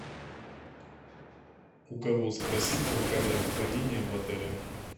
у кого спросить про камеру хранения в отеле